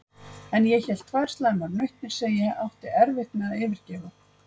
En ég hélt tvær slæmar nautnir, sem ég átti erfitt með að yfirgefa.